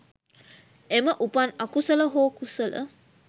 එම උපන් අකුසල හෝ කුසල